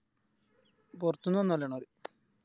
പോർത്ത്ന്ന് വന്നോലാണത്